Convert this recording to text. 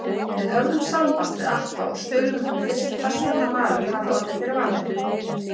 Við höfðum samband við Atla og spurðum hann fyrst hversvegna Valur hafi orðið fyrir valinu?